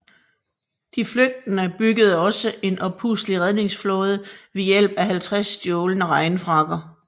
De flygtende byggede også en oppustelig redningsflåde ved hjælp af over 50 stjålne regnfrakker